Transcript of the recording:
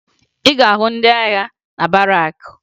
Ị ga-ahụ ndị agha na barakụ